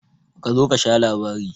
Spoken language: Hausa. Kazo kasha labari.